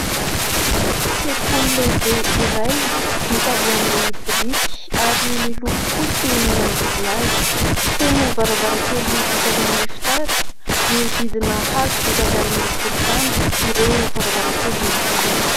Sekoly lehibe iray vita avy amin'ny biriky ary miloko fotsy ny manodidina azy feno varavarankely vita avy amin'ny fitaratra miodidina hazo vita avy amin'ny volontany ireo varavarankely ireo.